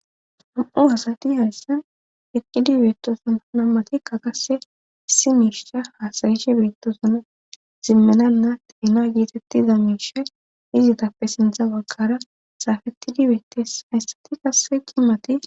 ham7u asati hayssen eqqidibeeto sunna matikka qase issi miirsha haasayishe bitosona zimmenanna tiina giitettida miirshay izitappe sintha waggara saafettidi beettes hayssati kasse qimati